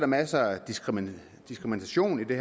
masser af diskrimination diskrimination i det